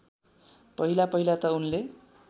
पहिलापहिला त उनले